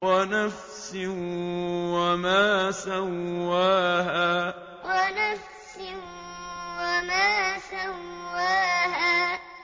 وَنَفْسٍ وَمَا سَوَّاهَا وَنَفْسٍ وَمَا سَوَّاهَا